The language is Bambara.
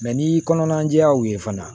ni kɔnɔna jɛyaw ye fana